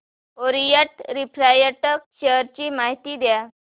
Orient refract share ची माहिती द्या